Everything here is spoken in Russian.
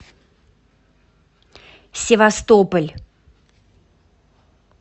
севастополь